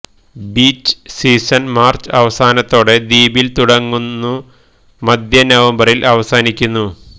beach season March അവസാനത്തോടെ ദ്വീപിൽ തുടങ്ങുന്നു മധ്യ നവംബറിൽ അവസാനിക്കുന്നു